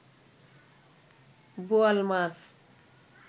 বোয়াল মাছ